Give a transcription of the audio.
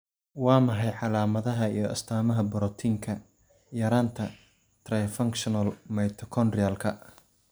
Waa maxay calaamadaha iyo astaamaha borotiinka yaraanta trifunctional Mitochondrialka?